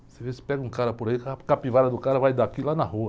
Você vê, você pega um cara por aí, a capivara do cara vai daqui lá na rua.